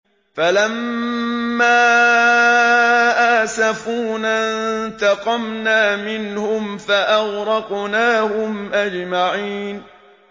فَلَمَّا آسَفُونَا انتَقَمْنَا مِنْهُمْ فَأَغْرَقْنَاهُمْ أَجْمَعِينَ